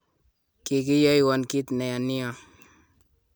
Kikiyoiwon kit neya nia